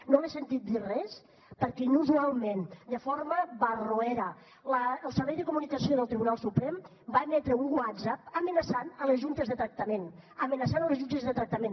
no l’he sentit dir res perquè inusualment de forma barroera el servei de comunicació del tribunal suprem va emetre un whatsapp en què amenaçava les juntes de tractament en què amenaçava les juntes de tractament